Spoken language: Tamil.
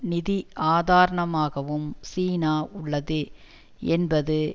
நிதி ஆதாரனமாகவும் சீனா உள்ளது என்பது